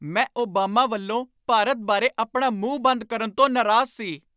ਮੈਂ ਓਬਾਮਾ ਵੱਲੋਂ ਭਾਰਤ ਬਾਰੇ ਆਪਣਾ ਮੂੰਹ ਬੰਦ ਕਰਨ ਤੋਂ ਨਰਾਜ਼ ਸੀ।